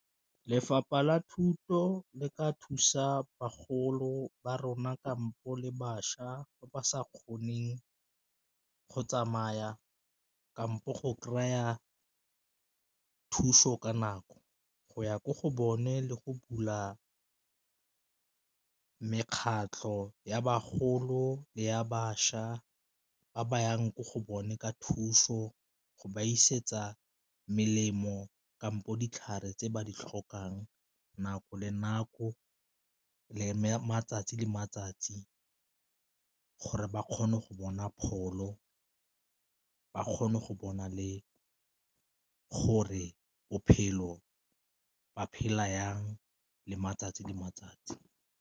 Lefapha la thuto le ka thusa bagolo ba rona kampo le bašwa ba ba sa kgoneng go tsamaya kampo go kry-a thuso ka nako, go ya ko go bone le go bula mekgatlho ya bagolo le ya bašwa ba ba yang ko go bone ka thuso, go ba isetsa melemo kampo ditlhare tse ba di tlhokang nako le nako le matsatsi le matsatsi gore ba kgone go bona pholo, ba kgone go bona le gore bophelo ba phela jang le matsatsi le matsatsi.